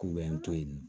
K'u bɛ n to yen nɔ